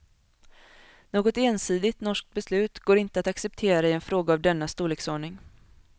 Något ensidigt norskt beslut går inte att acceptera i en fråga av denna storleksordning.